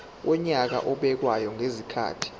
wonyaka obekwayo ngezikhathi